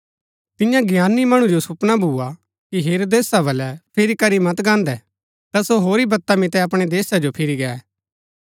तियां ज्ञानी मणु जो सुपना भुआ कि हेरोदेसा बलै फिरी करी मत गान्हदै ता सो होरी बत्ता मितै अपणै देशा जो फिरी गै